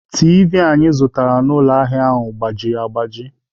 Tiivi anyị zụtara n'ụlọ ahịa a gbajiri agbaji.